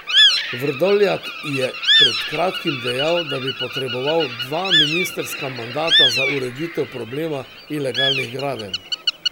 Vrdoljak je pred kratkim dejal, da bi potreboval dva ministrska mandata za ureditev problema ilegalnih gradenj.